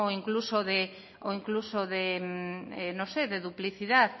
e incluso de duplicidad